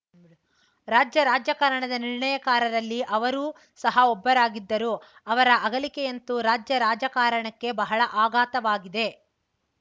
ರಾಜ್ಯ ರಾಜಕಾರಣದ ನಿರ್ಣಾಯಕಾರರಲ್ಲಿ ಅವರೂ ಸಹ ಒಬ್ಬರಾಗಿದ್ದರು ಅವರ ಅಗಲಿಕೆಯಂತು ರಾಜ್ಯ ರಾಜಕಾರಣಕ್ಕೆ ಬಹಳ ಆಘಾತವಾಗಿದೆ